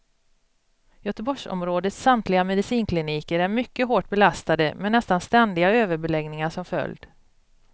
Göteborgsområdets samtliga medicinkliniker är mycket hårt belastade med nästan ständiga överbeläggningar som följd.